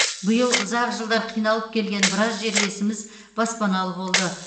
биыл ұзақ жылдар қиналып келген біраз жерлесіміз баспаналы болды